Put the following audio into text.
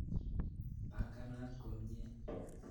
Panganat komnye.